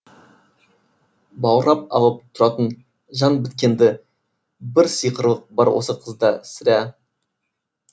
баурап алып тұратын жан біткенді бір сиқырлық бар осы қызда сірә